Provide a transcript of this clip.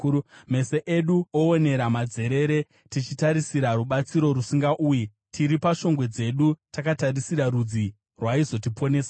Meso edu oonera madzerere, tichitarisira rubatsiro rusingauyi; tiri pashongwe dzedu takatarisira rudzi rwaizotiponesa.